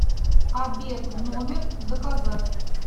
обед в номер заказать